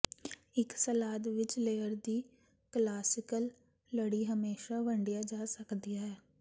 ਇੱਕ ਸਲਾਦ ਵਿਚ ਲੇਅਰ ਦੀ ਕਲਾਸੀਕਲ ਲੜੀ ਹਮੇਸ਼ਾ ਵੰਡਿਆ ਜਾ ਸਕਦਾ ਹੈ